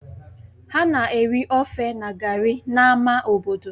Ha na-eri ofe na gari n'ámá obodo